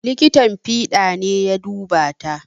Likitan fiɗa ne ya duba ta